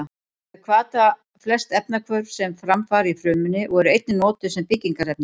Þau hvata flest efnahvörf sem fram fara í frumunni og eru einnig notuð sem byggingarefni.